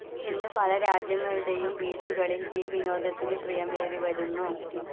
ഇന്ന് പല രാജ്യങ്ങളുടേയും ബീച്ചുകളിൽ ഈ വിനോദത്തിനു പ്രിയമേറിവരുന്നു.